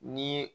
Ni